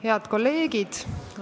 Head kolleegid!